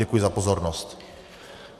Děkuji za pozornost.